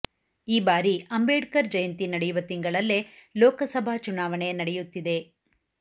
ಈ ಬಾರಿ ಅಂಬೇಡ್ಕರ್ ಜಯಂತಿ ನಡೆಯುವ ತಿಂಗಳಲ್ಲೇ ಲೋಕಸಭಾ ಚುನಾವಣೆ ನಡೆಯುತ್ತಿದೆ